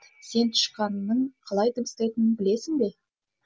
сен тышқанның қалай дыбыстайтынын білесің бе